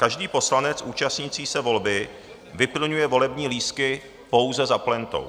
Každý poslanec účastnící se volby vyplňuje volební lístky pouze za plentou.